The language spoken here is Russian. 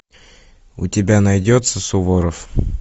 у тебя найдется суворов